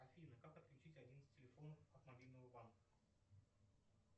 афина как отключить один из телефонов от мобильного банка